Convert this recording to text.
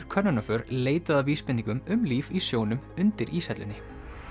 könnunarför leitað að vísbendingum um líf í sjónum undir íshellunni